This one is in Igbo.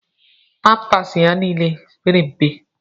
Pampas ya niile pere mpe.